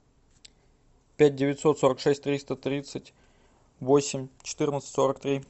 пять девятьсот сорок шесть триста тридцать восемь четырнадцать сорок три